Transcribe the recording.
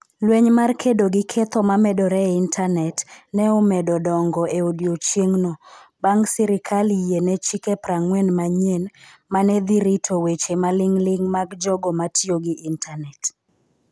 Lweny mar kedo gi ketho ma medore e intanet, ne omedo dongo e odiechieng'no, bang' sirkal yie ne chike 40 manyien ma ne dhi rito weche maling'ling' mag jogo ma tiyo gi intanet.